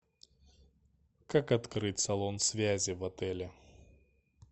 как открыть салон связи в отеле